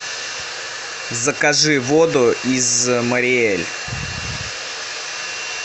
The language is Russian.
закажи воду из мариэль